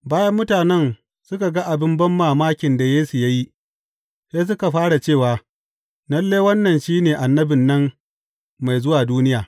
Bayan mutanen suka ga abin banmamakin da Yesu ya yi, sai suka fara cewa, Lalle, wannan shi ne Annabin nan mai zuwa duniya.